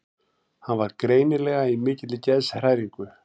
Hann var greinilega í mikilli geðshræringu.